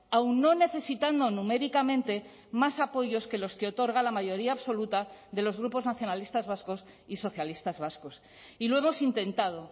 aun no necesitando numéricamente más apoyos que los que otorga la mayoría absoluta de los grupos nacionalistas vascos y socialistas vascos y lo hemos intentado